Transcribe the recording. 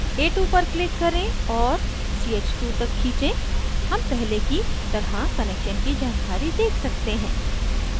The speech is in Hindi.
a2 पर click करें और ch2 तक खींचें हम पहले की तरह connection की जानकारी देख सकते हैं